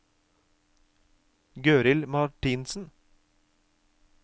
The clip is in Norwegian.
Gøril Martinsen